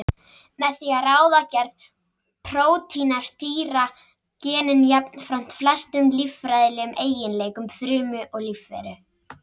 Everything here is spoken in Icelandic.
Með því að ráða gerð prótína stýra genin jafnframt flestum líffræðilegum eiginleikum frumu og lífveru.